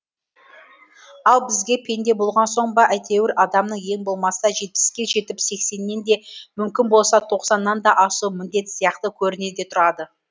ал бізге пенде болған соң ба әйтеуір адамның ең болмаса жетпіске жетіп сексеннен де мүмкін болса тоқсаннан да асуы міндет сияқты көрінеді де тұрады